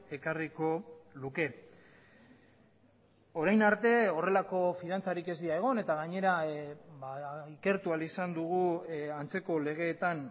ekarriko luke orain arte horrelako fidantzarik ez dira egon eta gainera ikertu ahal izan dugu antzeko legeetan